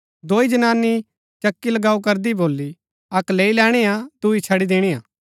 दोई जनानी चक्की चलाऊँ करदी भोली अक्क लैई लैणी हा दुई छड़ी दिणिआ